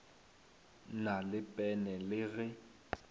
na le pene le ge